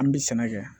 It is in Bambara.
An bi sɛnɛ kɛ